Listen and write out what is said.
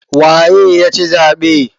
Waye ya ci zaɓe?